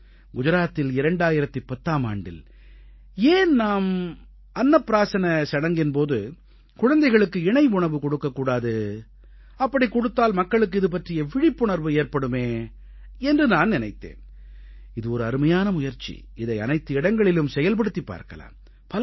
குஜராத்தில் 2010ஆம் ஆண்டில் ஏன் நாம் அன்னப் பிராஸன சடங்கின் போது குழந்தைகளுக்கு இணை உணவு கொடுக்க கூடாது அப்படிக் கொடுத்தால் மக்களுக்கு இது பற்றிய விழிப்புணர்வு ஏற்படுமே என்று நான் நினைத்தேன் இது ஒரு அருமையான முயற்சி இதை அனைத்து இடங்களிலும் செயல்படுத்திப் பார்க்கலாம்